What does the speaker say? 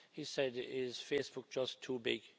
He said Is Facebook just too big?'